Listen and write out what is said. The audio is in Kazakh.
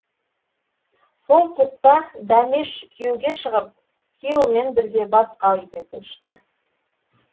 сол тұста дәмеш күйеуге шығып күйеуімен бірге басқа үйге көшті